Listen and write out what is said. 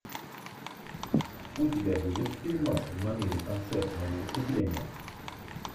у тебя будет фильмас в манере концертного выступления